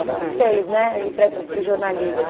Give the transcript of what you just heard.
O que te fez, né, ir para essa para o jornalismo?